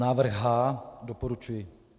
Návrh H, doporučuji.